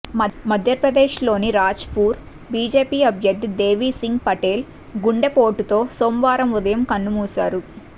మధ్యప్రదేశ్లోని రాజ్పూర్ బీజేపీ అభ్యర్థి దేవిసింగ్ పటేల్ గుండెపోటుతో సోమవారం ఉదయం కన్నుమూశారు